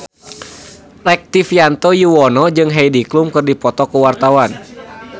Rektivianto Yoewono jeung Heidi Klum keur dipoto ku wartawan